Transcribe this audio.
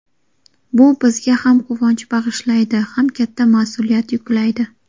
Bu bizga ham quvonch bag‘ishlaydi, ham katta mas’uliyat yuklaydi.